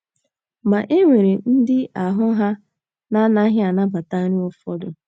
Ma, e nwere ndị ahụ́ ha na - anaghị anabata nri ụfọdụ